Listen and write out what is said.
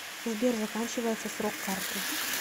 сбер заканчивается срок карты